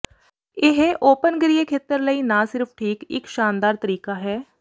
ਇਹ ਉਪਨਗਰੀਏ ਖੇਤਰ ਲਈ ਨਾ ਸਿਰਫ਼ ਠੀਕ ਇੱਕ ਸ਼ਾਨਦਾਰ ਤਰੀਕਾ ਹੈ